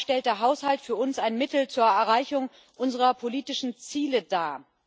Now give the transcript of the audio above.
Daher stellt der Haushalt für uns ein Mittel zur Erreichung unserer politischen Ziele dar.